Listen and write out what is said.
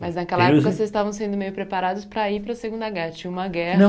Mas naquela época vocês estavam sendo meio preparados para ir para a Segunda Guerra. Tinha uma guerra